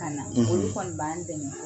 Kana; ; olu kɔni b'an dɛmɛ